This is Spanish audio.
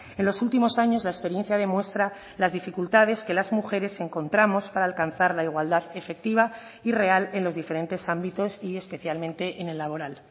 en los últimos años la experiencia demuestra las dificultades que las mujeres encontramos para alcanzar la igualdad efectiva y real en los diferentes ámbitos y especialmente en el laboral